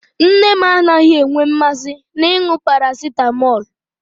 Nne m anaghị enwe mmasị n'ịṅụ parasịtamọlụ.